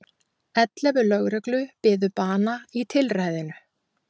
Ellefu lögreglu biðu bana í tilræðinu